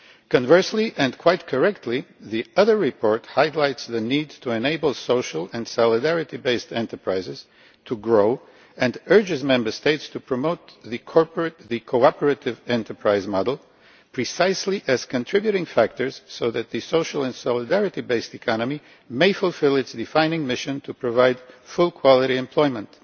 Conversely, and quite correctly, the other report highlights the need to enable social and solidarity based enterprises to grow, and urges Member States to promote the cooperative enterprise model, precisely as contributing factors so that the social and solidarity based economy may fulfil its defining mission to provide full, high quality employment.